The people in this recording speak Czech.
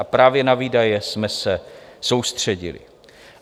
A právě na výdaje jsme se soustředili.